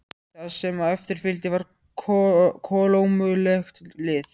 Það sem á eftir fylgdi var kolómögulegt lið.